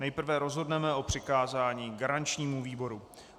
Nejprve rozhodneme o přikázání garančnímu výboru.